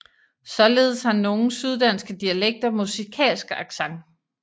Således har nogle syddanske dialekter musikalsk accent